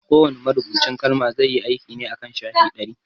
Kowa ne marubucin kalma zai yi aiki ne akan shafi ɗari